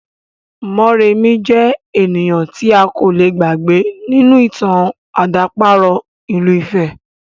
Mọ́remí jẹ́ ènìyàn tí a kò le gbàgbé nínú ìtàn àdàparo ìlú ifẹ̀